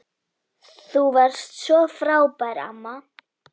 Þú varst svo frábær amma.